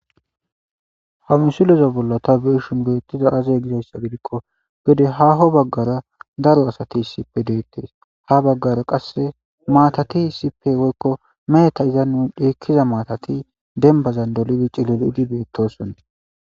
Ha misileza bolla ta beyishin betizay axe gizysa gidiko gede haho bagara daro asati issipe detes ha bagara qase maatati issipe woykomeheta dhikiza maatati demban dolidi cilili lo'idi betosona